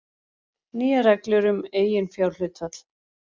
Nýjar reglur um eiginfjárhlutfall